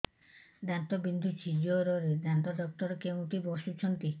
ଦାନ୍ତ ବିନ୍ଧୁଛି ଜୋରରେ ଦାନ୍ତ ଡକ୍ଟର କୋଉଠି ବସୁଛନ୍ତି